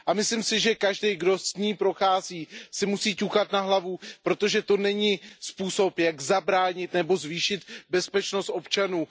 Myslím si, že každý, kdo jí prochází, si musí ťukat na hlavu, protože to není způsob, jak zabránit útoku nebo zvýšit bezpečnost občanů.